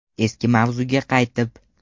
Eski mavzuga qaytib.